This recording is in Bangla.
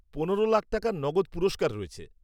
পনেরো লাখ টাকার নগদ পুরস্কার রয়েছে।